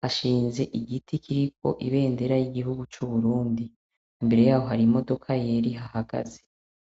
hashinze igiti kiriko ibendera y'igihugu c'Uburundi, imbere yaho hari imodoka yera ihahagaze.